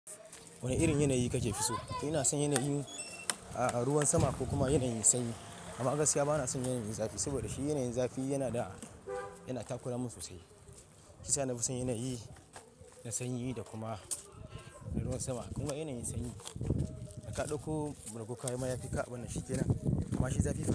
Wane irin yanayi kake fi so? Ina son yanayin, a, ruwan sama ko kuma yanayin sanyi. Amma gaskiya bana son yanayin zafi. Saboda shi yanayin zafi yana da, yana takura min sosai. Shiyasa na fi son yanayi na sanyi da kuma na ruwan sama. Kuma yanayin sanyi da ka dauko bargo ka yi ma ya fi ka abin nan shike nan. Amma shi zafi.